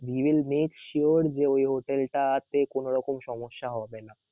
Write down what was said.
We will make sure যে ওই হোটেলটাতে কোন রকম সমস্যা হবে না.